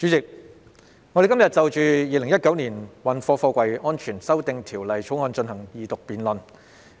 主席，我們今天進行《2019年運貨貨櫃條例草案》的二讀辯論。